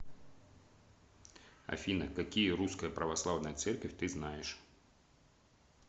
афина какие русская православная церквь ты знаешь